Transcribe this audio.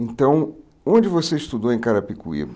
Então, onde você estudou em Carapicuíba?